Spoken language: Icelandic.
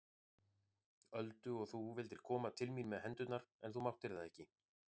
Öldu og þú vildir koma til mín með hendurnar en þú máttir það ekki.